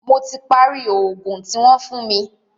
Mó tí parí í oògùn tí wọ́n fún mí.